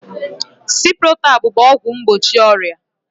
Ciprotab bụ ọgwụ mgbochi ọrịa